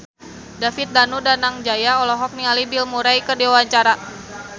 David Danu Danangjaya olohok ningali Bill Murray keur diwawancara